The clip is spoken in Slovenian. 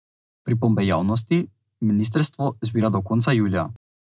Pripombe javnosti ministrstvo zbira do konca julija.